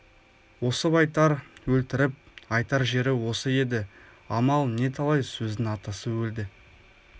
осып айтар өлтіріп айтар жері осы еді амал не талай сөздің атасы өлді